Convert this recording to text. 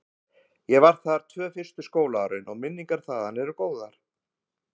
Ég var þar tvö fyrstu skólaárin og minningar þaðan eru góðar.